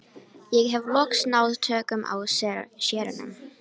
Ég hef loks náð tökum á séranum.